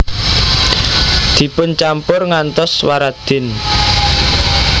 Dipuncampur ngantos waradin